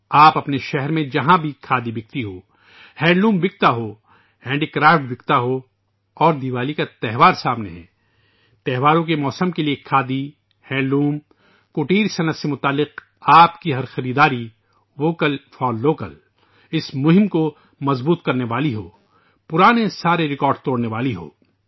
آپ اپنے شہر میں جہاں بھی کھادی ، ہینڈلوم ، ہینڈ کرافٹ بکتا ہو اور دیوالی کا تہوار سامنے ہے ، تہواروں کے موسم کے لیے کھادی ، ہینڈلوم ، کاٹیج انڈسٹری سے متعلق آپ کی ہر خریداری 'ووکل فار لوکل ' اس مہم کو مضبوط بنانے کے لیے ہو، پرانے سارے ریکارڈ توڑنے والی ہو